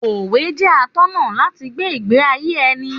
Òwe jẹ́ atọ́nà láti gbé ìgbé ayé ẹni.